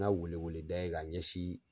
N ka wele wele da ye ka ɲɛsin